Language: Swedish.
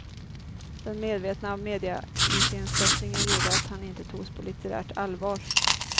Den medvetna mediaiscensättningen gjorde att han inte togs på litterärt allvar.